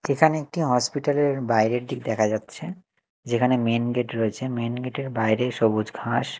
এখানে একটি হসপিটাল -এর বাইরের দিক দেখা যাচ্ছে যেখানে মেন গেট রয়েছে মেন গেটের -এর বাইরে সবুজ ঘাস।